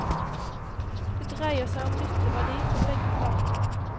Det dreier seg om nytteverdi for begge parter.